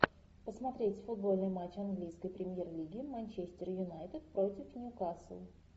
посмотреть футбольный матч английской премьер лиги манчестер юнайтед против ньюкасл